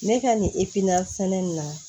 Ne ka nin sɛnɛ in na